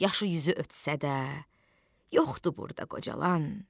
Yaşı yüzü ötsə də, yoxdur burda qocalan.